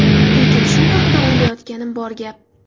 Lekin shu haqida o‘ylayotganim bor gap.